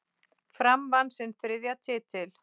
Fram vann sinn þriðja titil.